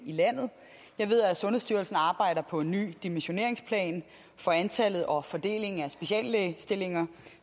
landet jeg ved at sundhedsstyrelsen arbejder på en ny dimensioneringsplan for antallet og fordelingen af speciallægestillinger